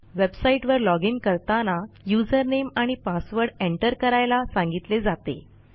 वेबसाईटवर लॉजिन करताना usernameआणि पासवर्ड एंटर करायला सांगितले जाते